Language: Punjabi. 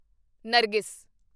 ਨਰਗਿਸ